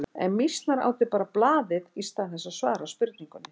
En mýsnar átu bara blaðið í stað þess að svara spurningunni.